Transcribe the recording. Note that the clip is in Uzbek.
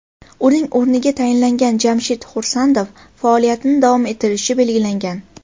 Uning o‘rniga tayinlangan Jamshid Xursandov faoliyatini davom ettirishi belgilangan.